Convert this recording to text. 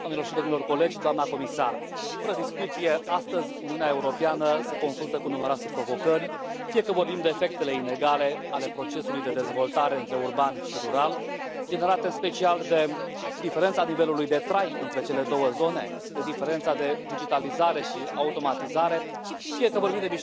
doamnelor și domnilor colegi, doamnă comisar, fără discuție, astăzi, Uniunea Europeană se confruntă cu numeroase provocări, fie că vorbim de efectele inegale ale procesului de dezvoltare între urban și rural, generate în special de diferența nivelului de trai între cele două zone, de diferența de digitalizare și automatizare, fie că vorbim de mișcările de populație din zonele rurale montane sau izolate,